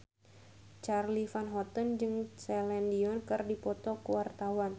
Charly Van Houten jeung Celine Dion keur dipoto ku wartawan